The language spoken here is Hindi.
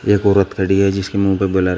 एक औरत खड़ी है जिसके मुंह पे ब्लर है।